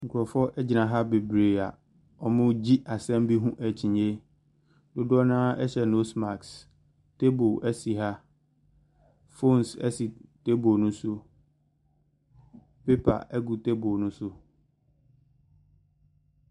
Nkrɔfoɔ gyina ha bebree a wɔregye asɛm bi ho akyinnye. Dodoɔ no ara hyɛ nose mask. Tabe si ha. Phones si table no so. Paper gu table no so.